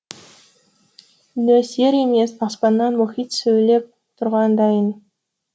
нөсер емес аспаннан мұхит сөйлеп тұрғандайын